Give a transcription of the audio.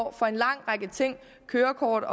år for en lang række ting kørekort